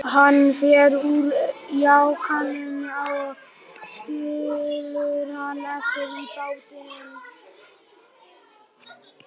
Styr, slökktu á þessu eftir áttatíu mínútur.